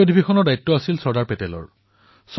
অধিৱেশনৰ সকলো ব্যৱস্থা চৰ্দাৰ পেটেলে কৰিছিল